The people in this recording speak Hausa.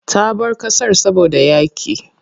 Ta bar ƙasar saboda yaƙi.